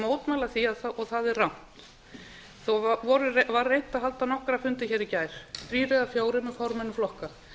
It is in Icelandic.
mótmæla því og það er rangt þó var reynt að halda nokkra fundi hér í gær þrír eða fjórir með formönnum flokka